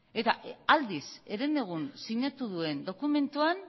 aldiz herenegun sinatu duen dokumentuan